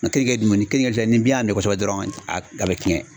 keninge dun ni kenige filɛ ni bin y'a minɛ kosɛbɛ dɔrɔn a be tiɲɛ.